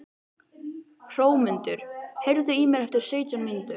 Hrómundur, heyrðu í mér eftir sautján mínútur.